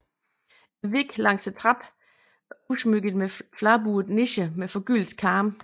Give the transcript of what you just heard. Væggen langs trappen er udsmykket med fladbuede nicher med forgyldte karme